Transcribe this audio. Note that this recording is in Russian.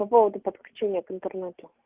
по поводу подключения к интернету